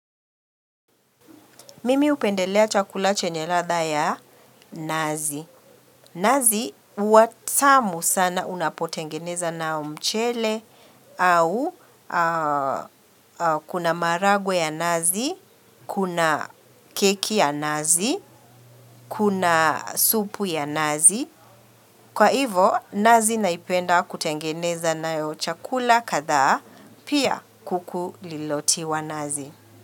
Mimi hupendelea chakula chenye ladha ya nazi. Nazi huwa tamu sana unapotengeneza na mchele au kuna maharagwe ya nazi, kuna keki ya nazi, kuna supu ya nazi. Kwa hivo nazi naipenda kutengeneza nayo chakula kadhaa pia kuku lililotiwa nazi.